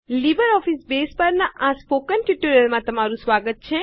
LibreOffice base પરના આ મૌખિક ટ્યુટોરીયલમાં તમારું સ્વાગત છે